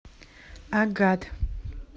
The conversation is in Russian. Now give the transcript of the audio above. агат